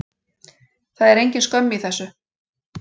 Það er engin skömm í þessu.